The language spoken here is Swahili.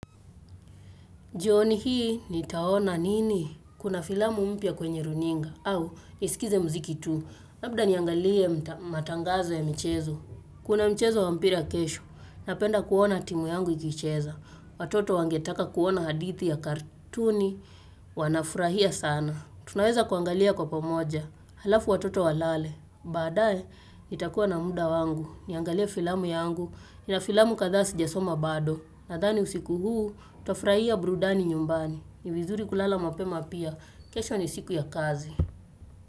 Jioni hii nitaona nini kuna filamu mpya kwenye runinga au nisikize mziki tu. Labda niangalie matangazo ya michezo. Kuona mchezo wa mpira kesho. Napenda kuona timu yangu ikicheza. Watoto wangetaka kuona hadithi ya katuni. Wanafurahia sana. Tunaweza kuangalia kwa pamoja. Halafu watoto walale. Baadaye, itakuwa na muda wangu. Niangalie filamu yangu. Nina filamu kadhaa si jasoma bado. Nadhani usiku huu, tutafurahia burudani nyumbani. Ni vizuri kulala mapema pia. Kesho ni siku ya kazi.